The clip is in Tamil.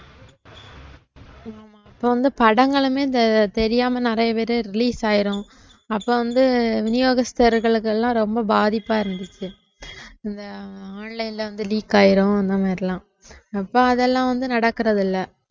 இப்ப வந்து படங்களுமே இந்த தெரியாம நிறைய பேரு release ஆயிரும் அப்ப வந்து விநியோகஸ்தர்களுக்கெல்லாம் ரொம்ப பாதிப்பா இருந்துச்சு, இந்த online ல வந்து leak ஆயிரும் இந்த மாதிரி எல்லாம் அப்ப அதெல்லாம் வந்து நடக்கறதில்லை